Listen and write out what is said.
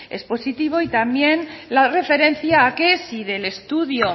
es positivo y también la referencia a que si del estudio